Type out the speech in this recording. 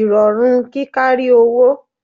ìrọ̀rùn kí kárí owó